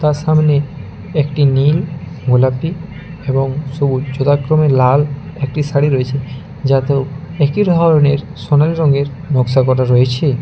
যার সামনে একটি নীল গোলাপি এবং সবুজ সেরকমই লাল একটি শাড়ি রয়েছে যাতেও একই ধরনের সোনালি রঙের নকশা করা রয়েছে।